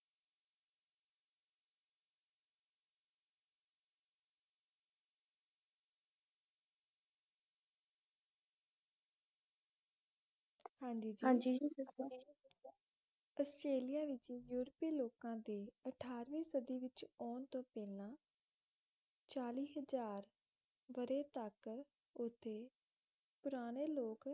ਹਾਂਜੀ ਜੀ ਦਸੋਂ ਆਸਟ੍ਰੇਲੀਆ ਵਿੱਚ ਯੂਰਪੀ ਲੋਕਾਂ ਦੇ ਅਠਾਰਵੀਂ ਸਦੀ ਵਿੱਚ ਆਉਣ ਤੋਂ ਪਹਿਲੇ ਚਾਲੀ ਹਜ਼ਾਰ ਵਰ੍ਹੇ ਤੱਕ ਉਥੇ ਪੁਰਾਣੇ ਲੋਕ